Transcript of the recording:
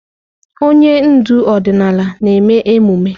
Onye ndu ọdịnala na-eme emume.